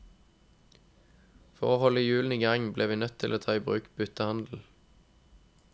For å holde hjulene i gang ble vi nødt til å ta i bruk byttehandel.